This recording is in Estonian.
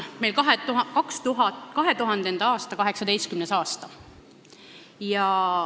Meil on praegu 2000-ndate 18. aasta.